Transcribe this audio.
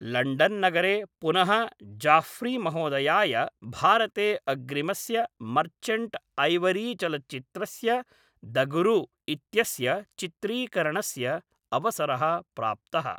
लण्डन्नगरे पुनः जाफ्रीमहोदयाय भारते अग्रिमस्य मर्चण्ट्ऐवरीचलच्चित्रस्य द गुरु इत्यस्य चित्रीकरणस्य अवसरः प्राप्तः।